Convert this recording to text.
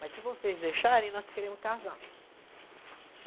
Mas se vocês deixarem, nós queremos casar.